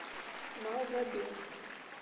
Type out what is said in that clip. малгобек